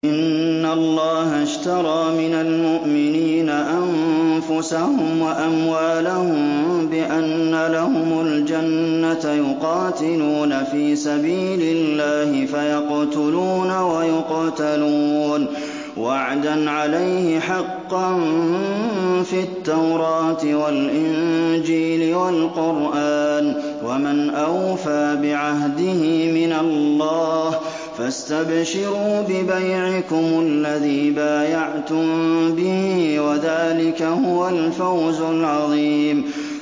۞ إِنَّ اللَّهَ اشْتَرَىٰ مِنَ الْمُؤْمِنِينَ أَنفُسَهُمْ وَأَمْوَالَهُم بِأَنَّ لَهُمُ الْجَنَّةَ ۚ يُقَاتِلُونَ فِي سَبِيلِ اللَّهِ فَيَقْتُلُونَ وَيُقْتَلُونَ ۖ وَعْدًا عَلَيْهِ حَقًّا فِي التَّوْرَاةِ وَالْإِنجِيلِ وَالْقُرْآنِ ۚ وَمَنْ أَوْفَىٰ بِعَهْدِهِ مِنَ اللَّهِ ۚ فَاسْتَبْشِرُوا بِبَيْعِكُمُ الَّذِي بَايَعْتُم بِهِ ۚ وَذَٰلِكَ هُوَ الْفَوْزُ الْعَظِيمُ